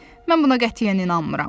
Mən buna qətiyyən inanmıram.